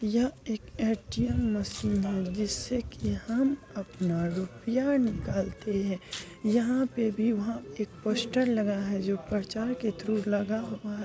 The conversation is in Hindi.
यह एक ए_टी_एम मशीन है जिससे की हम अपना रुपया निकालते हैं यहा पे भी वहां एक पोस्टर लगा है जो प्रचार के थ्रू लगा हुआ है।